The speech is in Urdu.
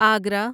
آگرہ